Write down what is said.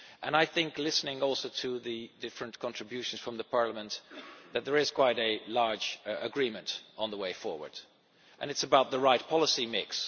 I think, listening also to the different contributions from Parliament, that there is quite a large agreement on the way forward, and it is about the right policy mix.